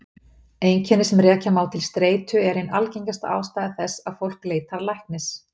Einkenni sem rekja má til streitu eru ein algengasta ástæða þess að fólk leitar læknis.